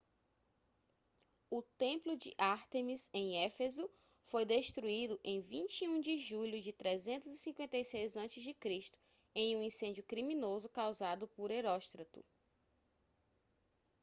o templo de ártemis em éfeso foi destruído em 21 de julho de 356 a.c. em um incêndio criminoso causado por heróstrato